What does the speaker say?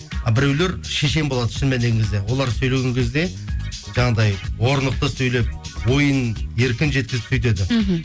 біреулер шешен болады шын мәніне келген кезде олар сөйлеген кезде жаңағыдай орнықты сөйлеп ойын еркін жеткізіп сөйтеді мхм